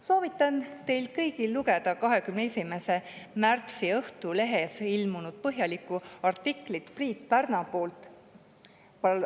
Soovitan teil kõigil lugeda 21. märtsi Õhtulehes ilmunud põhjalikku artiklit Priit Pärnapuult.